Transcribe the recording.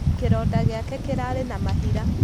Kĩroda gĩake kĩrarĩ na mahira.